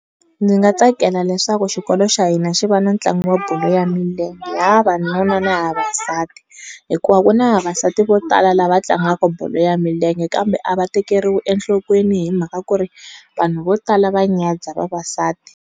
Ndzi nga tsakela leswaku xikolo xa hina xi va na ntlangu wa bolo ya milenge ya vavanuna ni ya vavasati, hikuva ku na vavasati vo tala lava tlangaka bolo ya milenge kambe a va tekeriwi enhlokweni hi mhaka kuri, vanhu vo tala va nyadza vavasati.